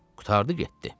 Qurtardı getdi.